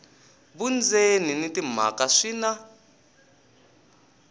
vundzeni na timhaka swi na